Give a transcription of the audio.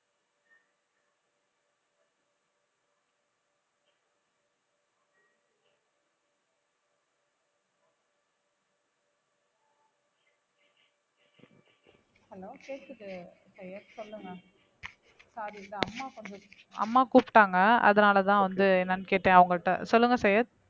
hello கேக்குது சையத் சொல்லுங்க sorry இந்த அம்மா கொஞ்சம் அம்மா கூப்பிட்டாங்க அதனாலதான் வந்து என்னன்னு கேட்டேன் அவங்ககிட்ட சொல்லுங்க சையத்